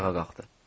Ayağa qalxdı.